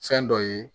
Fɛn dɔ ye